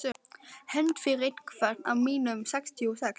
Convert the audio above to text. Hefnd fyrir einhvern af mínum sextíu og sex.